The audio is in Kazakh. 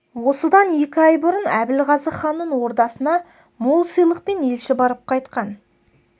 осыдан екі ай бұрын әбілғазы ханның ордасына мол сыйлықпен елші барып қайтқан